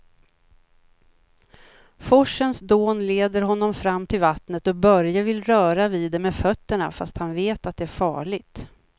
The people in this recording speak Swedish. Forsens dån leder honom fram till vattnet och Börje vill röra vid det med fötterna, fast han vet att det är farligt.